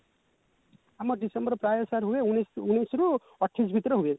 ଆମ ଡିସେମ୍ବର ପ୍ରାୟ sir ହୁଏ ଉଣେଇଶ ରୁ ଅଠେଇଶ ଭିତରୁ ହୁଏ